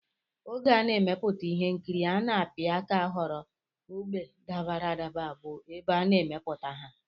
Oge a na-emepụta ihe nkiri a na-apị aka họrọ ógbè dabara adaba bụ ebe a ga-emepụta ha